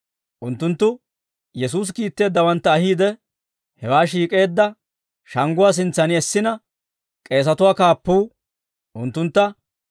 Unttunttu Yesuusi kiitteeddawantta ahiide, hewaa shiik'eedda shangguwaa sintsan essina, k'eesatuwaa kaappuu unttuntta,